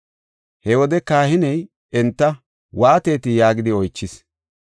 He wode kahiney enta, “Waatetii?” yaagidi oychis.